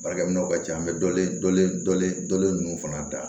Baarakɛminɛnw ka ca an bɛ dɔlen dɔlen dɔlen ninnu fana da